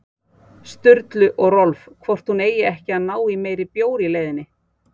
Sturlu og Rolf hvort hún eigi ekki að ná í meiri bjór í leiðinni.